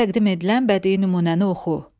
Təqdim edilən bədii nümunəni oxu.